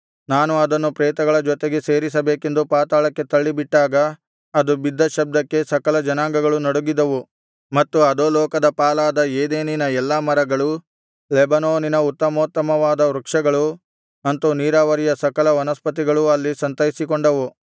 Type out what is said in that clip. ನಾನು ಅದನ್ನು ಪ್ರೇತಗಳ ಜೊತೆಗೆ ಸೇರಿಸಬೇಕೆಂದು ಪಾತಾಳಕ್ಕೆ ತಳ್ಳಿಬಿಟ್ಟಾಗ ಅದು ಬಿದ್ದ ಶಬ್ದಕ್ಕೆ ಸಕಲ ಜನಾಂಗಗಳು ನಡುಗಿದವು ಮತ್ತು ಅಧೋಲೋಕದ ಪಾಲಾದ ಏದೆನಿನ ಎಲ್ಲಾ ಮರಗಳು ಲೆಬನೋನಿನ ಉತ್ತಮೋತ್ತಮವಾದ ವೃಕ್ಷಗಳು ಅಂತು ನೀರಾವರಿಯ ಸಕಲ ವನಸ್ಪತಿಗಳೂ ಅಲ್ಲಿ ಸಂತೈಸಿಕೊಂಡವು